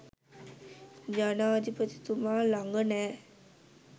ජනාධිපතිතුමා ළඟ නෑ.